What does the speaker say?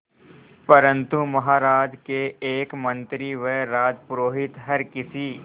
परंतु महाराज के एक मंत्री व राजपुरोहित हर किसी